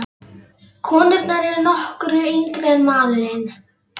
Konurnar eru nokkru yngri en maðurinn.